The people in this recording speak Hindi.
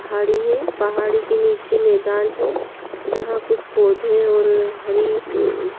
पहाड़ी है पहाड़ी के नीचे मैदान है। जहाँ कुछ पौधे और हरी अ --